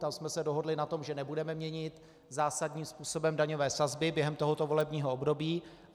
Tam jsme se dohodli na tom, že nebudeme měnit zásadním způsobem daňové sazby během tohoto volebního období.